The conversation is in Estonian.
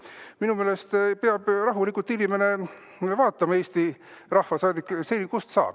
Minu meelest peab inimene, Eesti rahvasaadik, rahulikult vaatama, kust saab.